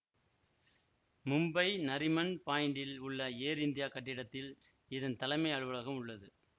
மும்பை நரிமன் பாயிண்டில் உள்ள Air India கட்டிடத்தில் இதன் தலைமை அலுவலகம் உள்ளது